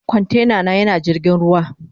Kwantena na yana jirgin ruwa.